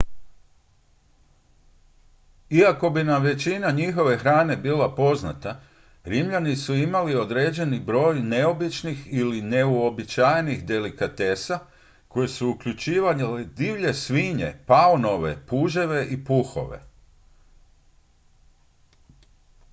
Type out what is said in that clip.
iako bi nam većina njihove hrane bila poznata rimljani su imali određeni broj neobičnih ili neuobičajenih delikatesa koje su uključivale divlje svinje paunove puževe i puhove